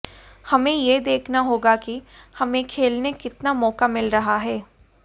हमें यह देखना होगा कि हमें खेलने कितना मौका मिल रहा है